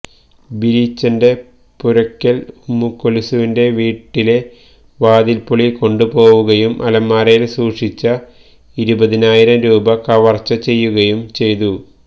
ബീരിച്ചന്റെ പുരക്കല് ഉമ്മുകുല്സുവിന്റെ വീട്ടിലെ വാതില് പൊളി കൊണ്ടുപോവുകയും അലമാരയില് സൂക്ഷിച്ച ഇരുപതിനായിരം രൂപ കവര്ച്ച ചെയ്യുകയും ചെയ്തു